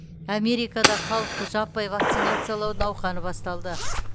америкада халықты жаппай вакциналау науқаны басталды